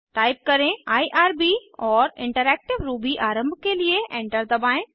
type करें IRB और interactive Ruby आरम्भ के लिए एंटर दबाएं